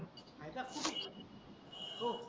आहे का हो